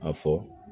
A fɔ